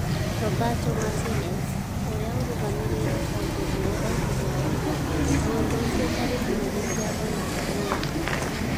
Roberto Martinez, ũrĩa ũrũgamĩrĩire kambuni ĩyo oigire ũũ: 'Mũndũ ũcio ndarĩ na mahĩtia o na hanini.